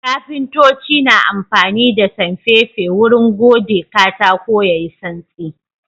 Kafintoci na amfani da sanfefe wurin gode katako yayi santsi.